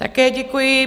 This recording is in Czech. Také děkuji.